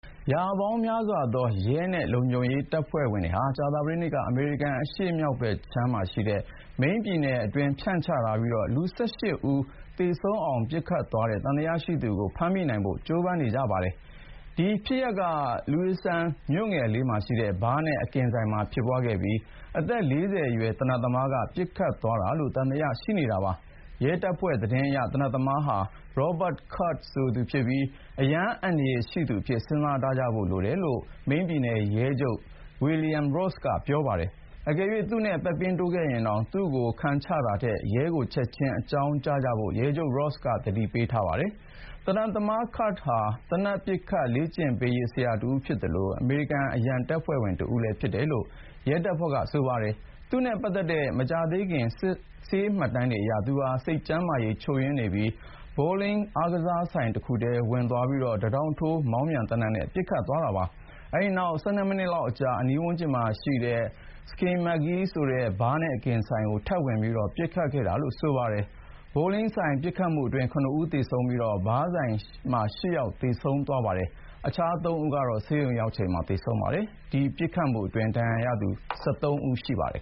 ရာပေါင်းများစွာသော ရဲနဲ့ လုံခြုံရေးတပ်ဖွဲ့ဝင်တွေဟာ ကြာသပတေးနေ့က အမေရိကန် အရှေ့မြောက်ဘက်ခြမ်း Maine ပြည်နယ်အတွင်း ဖြန့်ချထားပြီး လူ ၁၈ ဦး သေဆုံးအောင် ပစ်ခတ်သွားတဲ့ သံသယရှိသူကို ဖမ်းမိနိုင်ဖို့ ကြိုးပမ်းနေပါတယ်။ ဒီဖြစ်ရပ်က Lewiston မြို့ငယ်လေးမှာရှိတဲ့ ဘားနဲ့ အကင်ဆိုင်မှာဖြစ်ပွားခဲ့ပြီး အသက် ၄၀ အရွယ် သေနတ်သမားက ပစ်ခတ်သွားတာလို့ သံသယ ရှိနေတာပါ။ ရဲတပ်ဖွဲ့သတင်းအရ သေနတ်သမားဟာ Robert Card ဆိုသူဖြစ်ပြီး အရမ်းအန္တရာယ်ရှိသူအဖြစ် စဉ်းစားထားဖို့လိုတယ်လို့ မိန်းပြည်နယ်ရဲချုပ် William Ross က ပြောပါတယ်။ အကယ်၍ သူ့နဲ့ပက်ပင်းတိုးခဲ့ရင် သူ့ကို ခံချတာထက် ရဲကို ချက်ချင်းအကြောင်းကြားကြဖို့ ရဲချုပ် Ross က သတိပေးထားပါတယ်။ သေနတ်သမား Card ဟာ သေနတ်ပစ် လေ့ကျင့်ပေးရေးဆရာတဦးဖြစ်သလို အမေရိကန် အရန်တပ်ဖွဲ့ဝင်တဦးလည်း ဖြစ်တယ်လို့ ရဲတပ်ဖွဲ့က ပြောပါတယ်။ သူ့နဲ့ပတ်သက်တဲ့ မကြာသေးခင် ဆေးမှတ်တမ်းအရ သူဟာ စိတ်ကျန်းမာရေး ချို့ယွင်းနေပြီး Bowling အားကစားဆိုင်တခုထဲ ဝင်သွားကာ တထောင့်ထိုး မောင်းပြန်သေနတ်နဲ့ ပစ်ခတ်သွားခဲ့တာပါ။ အဲဒီနောက် ၁၂ မိနစ်အကြာမှာ အနီးဝန်းကျင်က Schemengees ဆိုတဲ့ ဘားနဲ့အကင်ဆိုင်ကို ထပ်ဝင်ပြီး ပစ်ခတ်ခဲ့တာလို့ ဆိုပါတယ်။ Bowling ဆိုင်ပစ်ခတ်မှုအတွင်း ၇ ဦး သေဆုံးပြီး ဘားဆိုင်မှာ ၈ ယောက် သေဆုံးကာ အခြား ၃ ဦးကတော့ ဆေးရုံရောက်ချိန်မှာ သေဆုံးခဲ့ပါတယ်။ ဒီပစ်ခတ်မှုအတွင်း ဒဏ်ရာရသူ ၁၃ ဦး ရှိပါတယ်